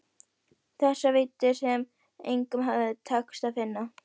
Þessar víddir sem engum hafði tekist að finna.